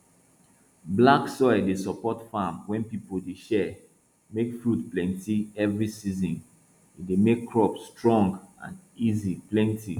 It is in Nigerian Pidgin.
black soil dey support farm wey people dey share make fruits plenty every season e dey make crops strong and easy plenti